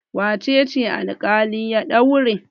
Wace ce alƙali ya daure?